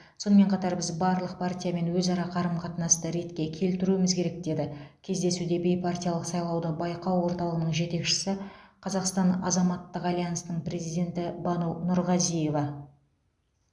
сонымен қатар біз барлық партиямен өзара қарым қатынасты ретке келтіруіміз керек деді кездесуде бейпартиялық сайлауды байқау орталығының жетекшісі қазақстан азаматтық альянсының президенті бану нұрғазиева